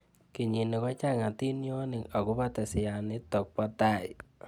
Kenyini kochang atinionik akobo teseanitok ba tai